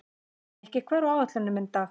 Mikki, hvað er á áætluninni minni í dag?